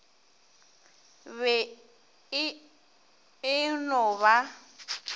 be e e no ba